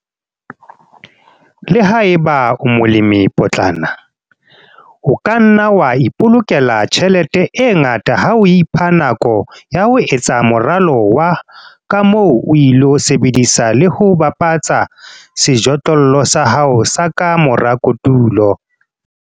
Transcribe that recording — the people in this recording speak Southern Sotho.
Le ha eba o molemipotlana, o ka nna wa ipolokela tjhelete e ngata ha o ipha nako yah o etsa moralo wa ka moo o ilo sebedisa le ho bapatsa sejothollo sa hao s aka mora kotulo.